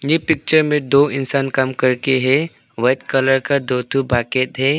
ए picture में दो इंसान काम करके है वाइट कलर का दो ठो बाकेट है।